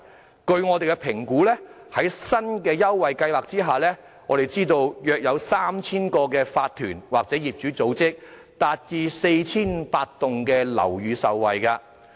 根據我們的評估，在新的優惠計劃下，約有 3,000 個法團或業主組織或 4,500 幢樓宇受惠。